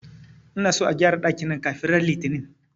Ina son a gƴara dakin nan kafin ran Litini!